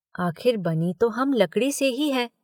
आखिर बनी तो हम लकड़ी से ही हैं।